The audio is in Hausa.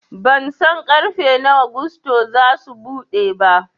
Bansan ƙarfe nawa gusto zasu buɗe ba